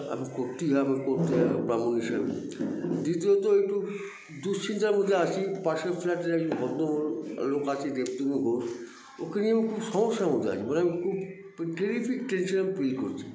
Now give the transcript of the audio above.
আমি করতেই হবে করতেই হবে ব্রাহ্মণ হিসাবে দীত্বিয়ত একটু দুঃশ্চিন্তার মধ্যে আছি পাশের flat -এর একজন ভদ্রলো লোক আছে যে দেবতোনু ঘোষ ওকে নিয়ে আমি খুব সমস্যার মধ্যে আছি মানে আমি খুব terrific tention feel করছি